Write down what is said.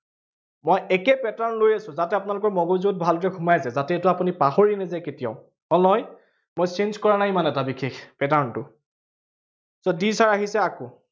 মই একে pattern লৈ আহিছো, যাতে আপোনালোকৰ মগজুত ভালকে সোমাই যায়। যাতে এইটো আপুনি পাহৰি নাযায় কেতিয়াওঁ। হল নহয়, মই change কৰা নাই ইমান এটা বিশেষ pattern টো so these are আহিছে আকৌ